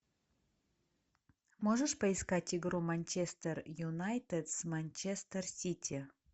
можешь поискать игру манчестер юнайтед с манчестер сити